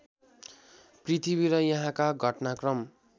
पृथ्वी र यहाँका घटनाक्रम